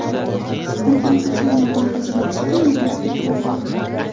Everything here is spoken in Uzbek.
Hokim qachon mablag‘ ajratishiga aniqlik kiritilmagan.